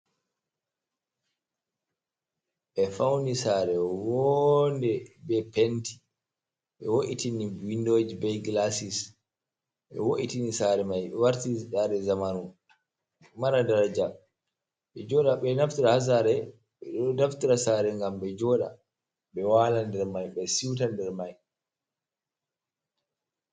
Ɓe fauni saare woonde, ɓe penti, ɓe wo’itini windoji be gilasis, ɓe wo’itini saare mai warti saare zamanu, mara daraja, ɓe joɗa, ɓe naftira haa saare, ɓe ɗo naftira be saare ngam ɓe joɗa, ɓe wala der mai, ɓe suita der mai.